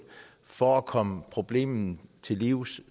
for at komme problemet til livs